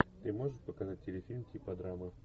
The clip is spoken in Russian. ты можешь показать телефильм типа драмы